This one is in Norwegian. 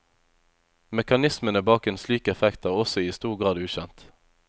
Mekanismene bak en slik effekt er også i stor grad ukjent.